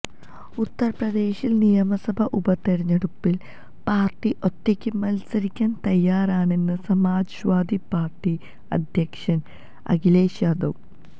ഉത്തർപ്രദേശിൽ നിയമസഭാ ഉപതെരഞ്ഞെടുപ്പിൽ പാർട്ടി ഒറ്റയ്ക്ക് മത്സരിക്കാൻ തയ്യാറാണെന്ന് സമാജ്വാദി പാർട്ടി അധ്യക്ഷൻ അഖിലേഷ് യാദവ്